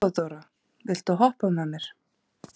Þeódóra, viltu hoppa með mér?